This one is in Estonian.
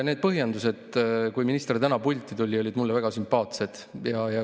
Need põhjendused, mis minister täna pulti tulles esitas, olid mulle väga sümpaatsed.